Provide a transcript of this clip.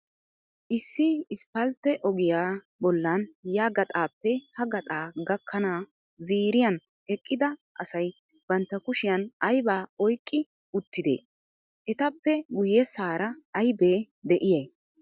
Issi isippaltte ogiya bollan ya gaxaappe ha gaxaa gakkana ziiriyan eqqida asay bantta kushiyan aybaa oyqqi uttidee? Etappe guyyessaara aybee de'iyay?